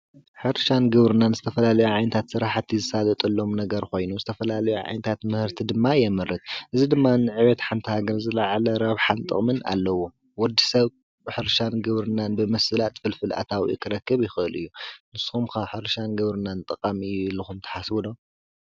ሕርሻን ግብርናን ዝተፈላለየ ንዓይነታት ስራሓቲ ዝሳለጠሎም ነገር ኮይኑ ዝተፈላለየ ዓይነት ምህርቲ ድማ የምርት። እዚ ድማ ንዕብየት ሓንቲ ሃገር ዝላዓለ ረብሓን ጠቕምን ኣለዎ። ወዲ ሰብ ብሕርሻን ግብርናን ብምስላጥ ፍልፍል ኣታዊኡ ክረክብ ይኽእል እዩ። ንስኹም ከ ሕርሻን ግብርናን ጠቓሚ እዩ ኢልኩም ትሓስቡ ዶ?